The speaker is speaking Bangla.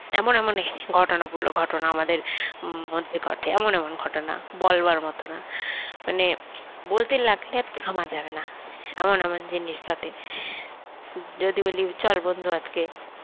এমন এমন ঘটনা গুলো ঘটনা আমাদের মধ্যে ঘটে এমন এমন ঘটনা বলবার মতো না মানে বলতে লাগলে আর থামা যাবে না এমন এমন জিনিস ঘটে যদি বলি চল বন্ধু আজকে